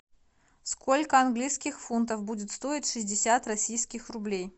сколько английских фунтов будет стоить шестьдесят российских рублей